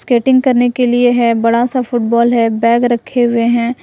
Skating करने के लिए है बड़ा सा फुटबॉल है बैग रखे हुए हैं।